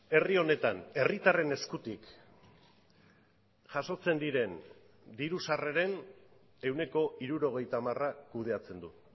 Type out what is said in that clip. herri honetan herritarren eskutik jasotzen diren diru sarreren ehuneko hirurogeita hamar kudeatzen du